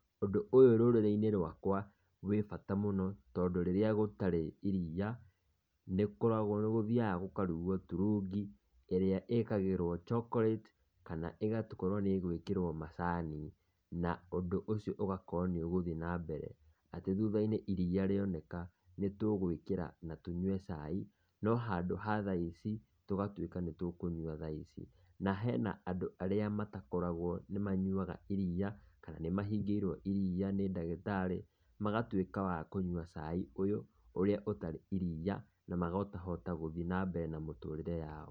Ũndũ ũyũ rũrĩrĩ-inĩ rwakwa wĩ bata mũno tondũ rĩrĩa gũtarĩ iriia, nĩ gũthiaga gũkarugwo turungi ĩrĩa ĩkagĩrwo chocolate kana ĩgakorwo nĩ ĩgwĩkĩrwo macani. Na ũndũ ũcio ũgakorwo nĩ ũgũthiĩ na mbere atĩ thutha-inĩ iriia rĩoneka nĩ tũgwĩkĩra na tũnyue cai no handũ ha thaa ici tũgatuĩka nĩ tũkũnyua thaa ici. Na hena andũ arĩa matakarogwo nĩ manyuaga iriia kana nĩ mahingĩirwo iriia nĩ ndagĩtarĩ magatuĩka wa kũnyua cai ũyũ ũrĩa ũtarĩ iriia na makahota gũthiĩ na mbere na mĩtũrĩre yao.